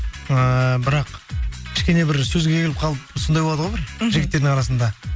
ііі бірақ кішкене бір сөзге келіп қалып сондай болады ғой бір мхм жігіттердің арасында